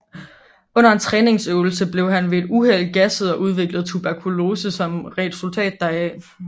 Under en træningsøvelse blev han ved et uheld gasset og udviklede tuberkulose som et resultat deraf